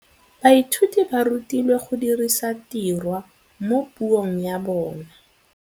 Baithuti ba rutilwe go dirisa tirwa mo puong ya bone.